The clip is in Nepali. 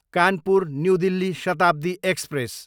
Kanpur, new Delhi Shatabdi express